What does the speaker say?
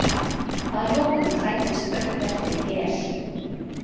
Að lokum fæddist örverpið Hel.